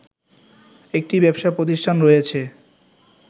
একটি ব্যবসা প্রতিষ্ঠান রয়েছে